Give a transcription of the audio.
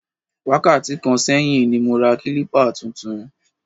Wákàtí kan sẹ́yìn ni mo ra kílípà tuntun